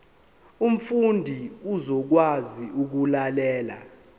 umfundi uzokwazi ukulalela